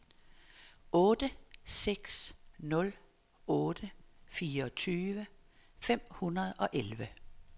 otte seks nul otte fireogtyve fem hundrede og elleve